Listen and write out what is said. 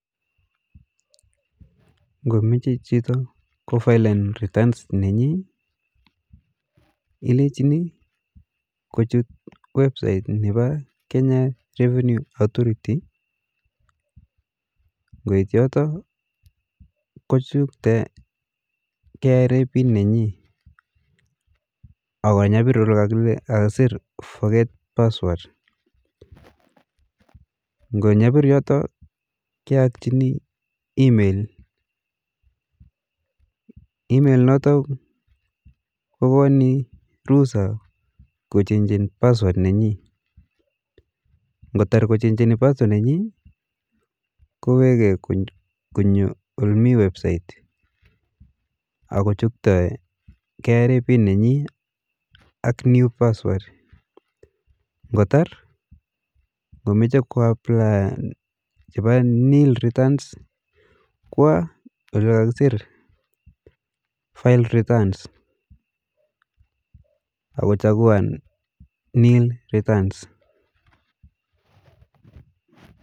Ng'omeche chito kufailen returns nenyi ilechini kuchut website nepo Kenya Revenue Authority, ngoit yote kuchukte kra ako nyapir yo kile forget password ,ngonyapir yoto keyachini email, email ko koni rusait kochenjen password, kotar kochenjen password nenyi ,kowekee ole mii website ako chukte kra pin nenyi ak new password, ngotar ng'omeche kuapliyan chepa nil return kwa ole kakeser file return ako chakuan nil returns